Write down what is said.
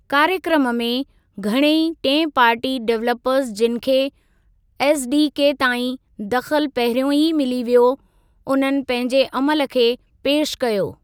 कार्यक्रमु में, घणई टिएं पार्टी डेवलपर्स जिनि खे एसडीके ताईं दख़लु पहिरियों ई मिली वियो, उन्हनि पंहिंजे अमल खे पेशि कयो।